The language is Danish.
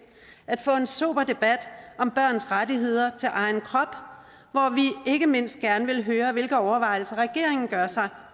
at få en sober debat om børns rettigheder til egen krop hvor vi ikke mindst gerne vil høre hvilke overvejelser regeringen gør sig